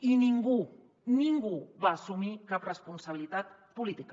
i ningú ningú va assumir cap responsabilitat política